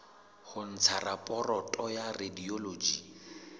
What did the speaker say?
ho ntsha raporoto ya radiology